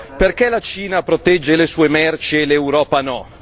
Perché la Cina protegge le sue merci e l'Europa no?